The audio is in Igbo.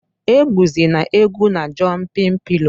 Egwuzịna egwu na jọmpịn pịlọ!